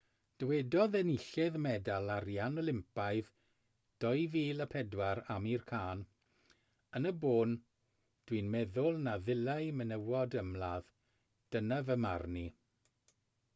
dywedodd enillydd medal arian olympaidd 2004 amir khan yn y bôn dw i'n meddwl na ddylai menywod ymladd dyna fy marn i